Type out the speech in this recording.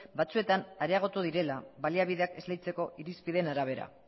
batzuetan areagotu direla baliabideak esleitzeko irizpideen arabera